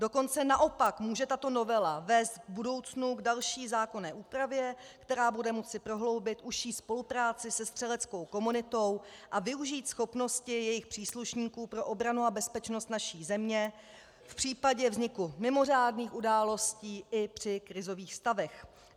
Dokonce naopak může tato novela vést v budoucnu k další zákonné úpravě, která bude moci prohloubit užší spolupráci se střeleckou komunitou a využít schopností jejich příslušníků pro obranu a bezpečnost naší země v případě vzniku mimořádných událostí i při krizových stavech.